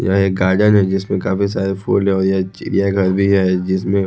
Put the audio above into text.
यह एक गार्डन है जिसमें काफी सारे फूल लगे हुए हैं चिड़िया घर भी है जिसमें--